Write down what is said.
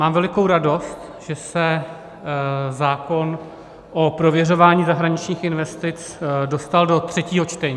Mám velikou radost, že se zákon o prověřování zahraničních investic dostal do třetího čtení.